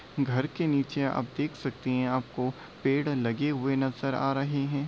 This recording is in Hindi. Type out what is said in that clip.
घर के नीचे आप देख सकते हैं आपको पेड़ लगे हुए नजर आ रहे हैं।